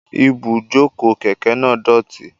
Ibujoko keke naa idoti.